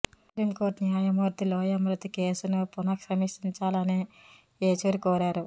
supreme Court న్యాయమూర్తి లోయా మృతి కేసును పునఃసమీక్షించాలని ఏచూరి కోరారు